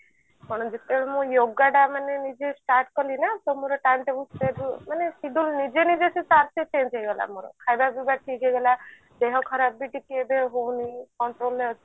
ଯେତେବେଳେ ମୁଁ yoga ଟା ମାନେ start କଲି ନା ତ ମୋର time table ସବୁ ମାନେ ସୁଧୁରି ନିଜେ ନିଜେ ସବୁ change ହେଇଗଲା ମୋର ଖାଇବା ପିଇବା ଠିକ ହେଇଗଲା ଦେହ ଖରାପ ବି ଟିକେ ଏବେ ହଉନି କାଇଁ କହିଲ